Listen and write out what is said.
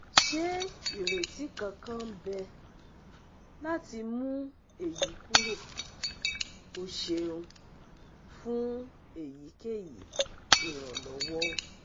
Se ireti kankan n be lati mu eyi kuro? O ṣeun fun eyikeyi iranlọwọ!